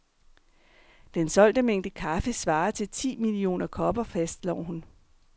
Den solgte mængde kaffe svarer til ti millioner kopper, fastslår hun.